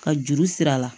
Ka juru siri a la